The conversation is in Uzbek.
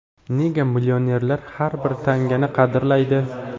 Nega millionerlar har bir tangani qadrlaydi?.